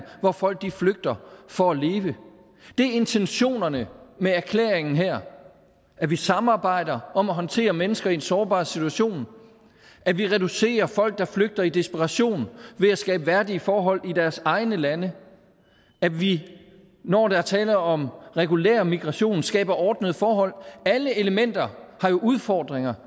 hvor folk flygter for at leve det er intentionerne med erklæringen her at vi samarbejder om at håndtere mennesker i en sårbar situation at vi reducerer folk der flygter i desperation ved at skabe værdige forhold i deres egne lande at vi når der er tale om regulær migration skaber ordnede forhold alle elementer har jo udfordringer